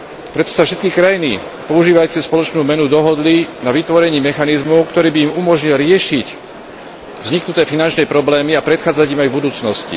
Preto sa všetky krajiny používajúce spoločnú menu dohodli na vytvorení mechanizmu, ktorý by im umožnil riešiť vzniknuté finančné problémy a predchádzať im aj v budúcnosti.